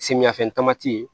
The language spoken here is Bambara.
Samiyafɛn tamati ye